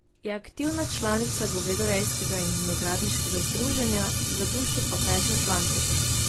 Je aktivna članica govedorejskega in vinogradniškega združenja, za dušo pa peče flancate.